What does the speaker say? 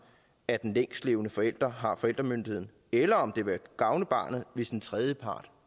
at den længstlevende forælder har forældremyndigheden eller om det ville gavne barnet hvis en tredjepart